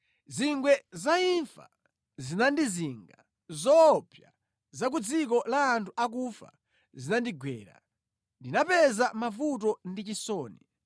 Zingwe za imfa zinandizinga, zoopsa za ku dziko la anthu akufa zinandigwera; ndinapeza mavuto ndi chisoni.